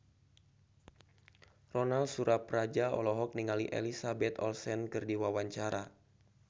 Ronal Surapradja olohok ningali Elizabeth Olsen keur diwawancara